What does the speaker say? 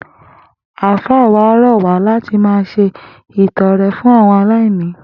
Àfáà wa rò̩ wá láti máa s̩e ìto̩re̩ fún àwo̩n aláìní